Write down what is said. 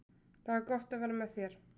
Það er gott að vera með þér.